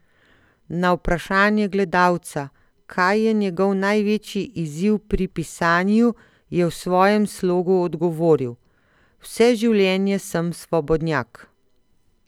Na vprašanje gledalca, kaj je njegov največji izziv pri pisanju, je v svojem slogu odgovoril: "Vse življenje sem svobodnjak.